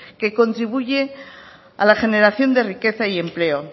que contribuye a la generación de riqueza y empleo